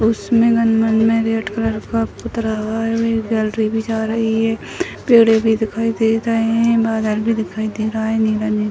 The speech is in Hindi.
उसमें पेड़ भी दिखाई दे रही है बादल भी दिखाई दे रहा है नीला-नीला।